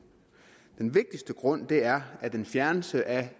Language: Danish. den vigtigste grund er at en fjernelse af